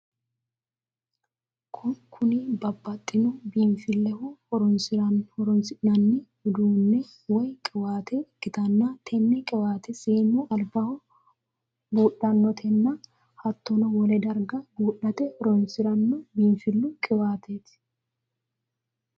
Kunni babbaxino biinfileho horoonsi'nanni uduune woyi qiwaate ikitanna tenne qiwaate seenu albaho buudhatenna hattono wole darga buudhate horoonsirano biinfilu qiwaateeti.